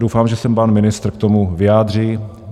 Doufám, že se pan ministr k tomu vyjádří.